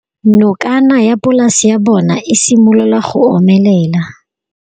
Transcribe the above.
Nokana ya polase ya bona, e simolola go omelela.